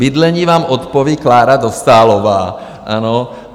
Bydlení vám odpoví Klára Dostálová.